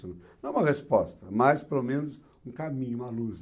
Não é uma resposta, mas pelo menos um caminho, uma luz.